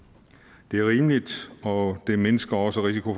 det er rimeligt og det mindsker også risiko